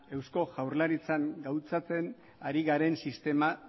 eusko jaurlaritzan gauzatzen ari garen sistema